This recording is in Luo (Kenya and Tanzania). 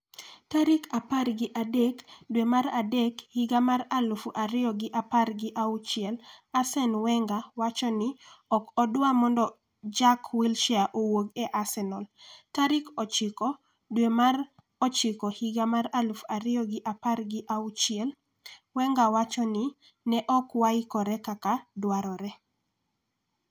tarik apar gi adek dwe mar adek higa mar aluf ariyo gi apar gi auchiel Arsene Wenger: Ok adwar mondo Jack Wilshere owuok e Arsenal .tarik ochiko dwe mar ochiko higa mar aluf ariyo gi apar gi auchiel. Wenger: Ne ok waikore kaka dwarore